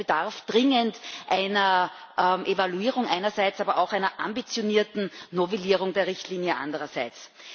Das heißt, es bedarf dringend einer Evaluierung einerseits, aber auch einer ambitionierten Novellierung der Richtlinie andererseits.